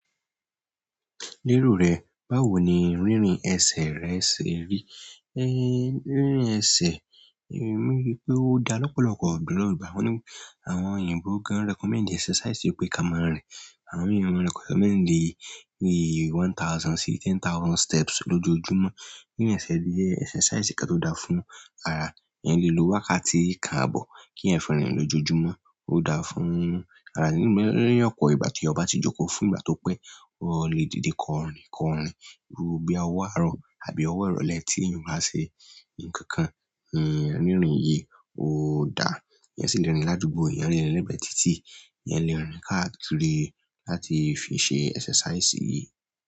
Lérò rẹ, báwo ni on rínrin ẹsẹ̀ rẹ ṣe rí? Rírin ẹsẹ̀, emi ríi pé ó da lọ́pọ̀lọpọ̀ ìgbà àwọn òyìnbó gan recommend exercise yìí pé kí a máa rìn. Àwọn mìír won ma recommend one thousand sí ten thousand steps lójoojúmọ́. Rírin ẹsẹ̀ jẹ́ exercise kan tó dáa fún ara. Eeyan lè lo wákàtí kan àbọ̀ kí eeyan fi rin lójoojúmọ́, ó dáa fún ara. Ni opo ìgbà tí ọba ti jókòó fún ìgbà tó pẹ́, o lè dìde kọrin, iru bí owọ àárọ̀ àbí owọ ìrọ̀lẹ́ tí èèyàn bá ṣe nǹkan kan, iru írin yìí ó dáa. Eeyan sì lè rìn ládùúgbò, eeyan le rin legbe títí, eeyan le rin káàkiri láti fi ṣe exercise yìí.